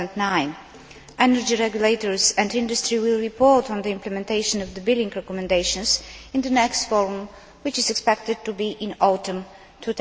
2009. Energy regulators and industry will report on the implementation of the billing recommendations in the next Forum, which is expected to be in the autumn of